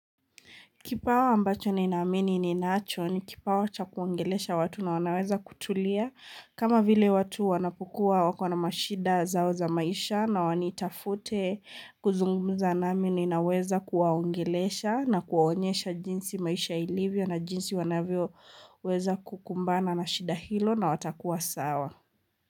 Kipawa ambacho ni naamini ni nacho ni kipawa cha kuongelesha watu na wanaweza kutulia kama vile watu wanapokuwa wakona mashida zao za maisha na wanitafute kuzungumuza nami ni naweza kuwaungelesha na kuwaonyesha jinsi maisha ilivyo na jinsi wanavyo weza kukumbana na shida hilo na watakuwa sawa.